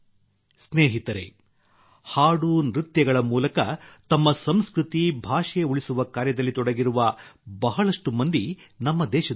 ಸ್ನೇಹಿತರೇ ಹಾಡು ನೃತ್ಯಗಳ ಮೂಲಕ ತಮ್ಮ ಸಂಸ್ಕೃತಿ ಭಾಷೆ ಉಳಿಸುವ ಕಾರ್ಯದಲ್ಲಿ ತೊಡಗಿರುವ ಬಹಳಷ್ಟು ಮಂದಿ ನಮ್ಮ ದೇಶದಲ್ಲಿದ್ದಾರೆ